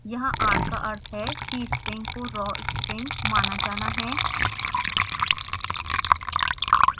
यहाँ r का अर्थ है कि string को raw string माना जाना है